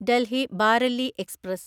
Delhi Bareilly express